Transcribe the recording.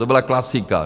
To byla klasika.